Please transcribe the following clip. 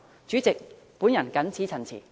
主席，我謹此陳辭。